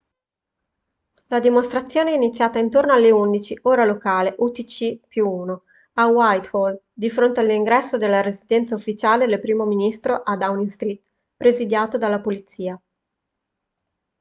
la dimostrazione è iniziata intorno alle 11:00 ora locale utc+1 a whitehall di fronte all'ingresso della residenza ufficiale del primo ministro a downing street presidiato dalla polizia